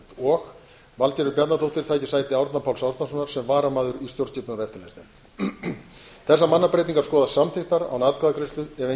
og valgerður bjarnadóttir taki sæti árna páls árnasonar sem varamaður í stjórnskipunar og eftirlitsnefnd þessar mannabreytingar skoðast samþykktar án atkvæðagreiðslu ef